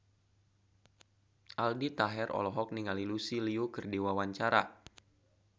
Aldi Taher olohok ningali Lucy Liu keur diwawancara